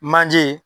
Manje